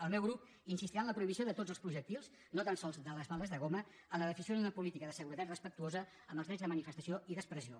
el meu grup insistirà en la prohibició de tots els projectils no tan sols de les bales de goma en la definició d’una política de seguretat respectuosa amb els drets de manifestació i d’expressió